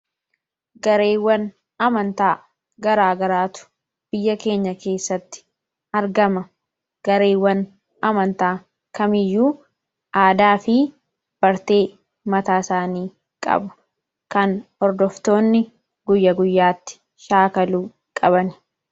gareewwan amantaa garaa garaatu biyya keenya keessatti argama gareewwan amantaa kamiiyyuu aadaa fi bartee mataa isaanii qabu kan ordoftoonni guyya-guyyaatti shaakaluu qaban